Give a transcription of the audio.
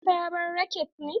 Ka saya sabon raket ne?